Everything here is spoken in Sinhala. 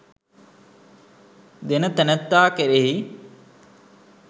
දෙන තැනැත්තා කෙරෙහි